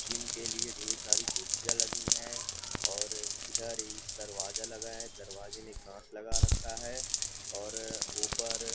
gym के लिए ढेर सारी कुर्सियां लगी हैं और इधर एक दरवाजा लगा है दरवाजे में कांच लगा रखा है और ऊपर--